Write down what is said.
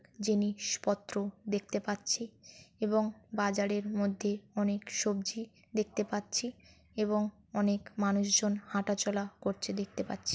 জিনিস পত্র দেখতে পাচ্ছি এবং বাজারের মধ্যে অনেক সব্জি দেখতে পাচ্ছি এবং অনেক মানুষজন হাঁটাচলা করছে দেখতে পাচ্ছি ।